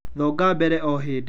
Thonga mbere o hĩndĩ